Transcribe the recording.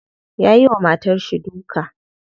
Yayi wa matarshi duka.